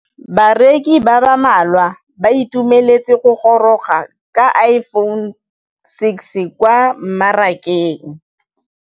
Bareki ba ba malwa ba ituemeletse go gôrôga ga Iphone6 kwa mmarakeng.